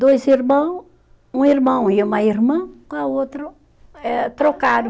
Dois irmão, um irmão e uma irmã, com a outra eh, trocaram.